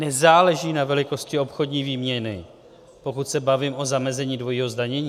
Nezáleží na velikosti obchodní výměny, pokud se bavím o zamezení dvojího zdanění.